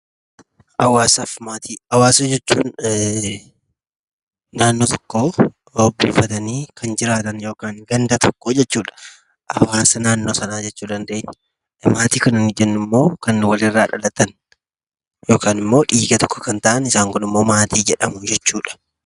Hawwaasaa fi Maatii: Hawwaasa jechuun naannoo tokko ho'ifatanii kan jiraatan yookaan gandalf tokko jechuudha. Hawaasa naannoo sanaa jechuu dandeenya. Maatii jechuun immoo lan walirraa dhalatan yookaan immoo dhiiga tokko kan ta'an isaan kunimmoo maatii jedhamu.